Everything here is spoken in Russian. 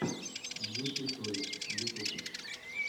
юпи тойс ютуб